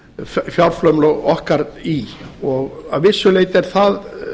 auka fjárframlög okkar í og að vissu leyti er það